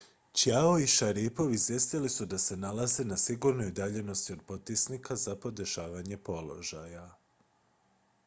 chiao i šaripov izvijestili su da se nalaze na sigurnoj udaljenosti od potisnika za podešavanje položaja